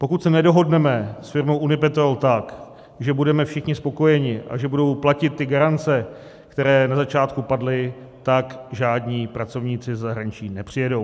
Pokud se nedohodneme s firmou Unipetrol tak, že budeme všichni spokojeni a že budou platit ty garance, které na začátku padly, tak žádní pracovníci ze zahraničí nepřijedou.